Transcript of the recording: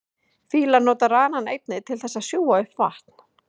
Fílar nota ranann einnig til þess að sjúga upp vatn.